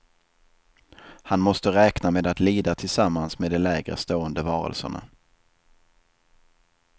Han måste räkna med att lida tillsammans med de lägre stående varelserna.